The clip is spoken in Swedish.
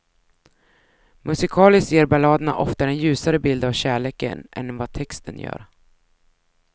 Musikaliskt ger balladerna ofta en ljusare bild av kärleken än vad texten gör.